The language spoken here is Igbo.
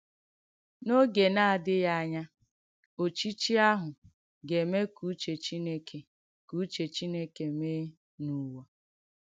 N’ògè na-adị̀ghì ànyà, òchìchì àhụ̄ ga-eme ka uchè Chìnèkè ka uchè Chìnèkè mèe n’ùwà.